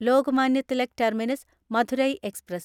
Lokmanya Tilak terminus Madurai express